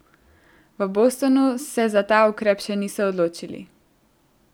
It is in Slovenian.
V Bostonu se za ta ukrep še niso odločili.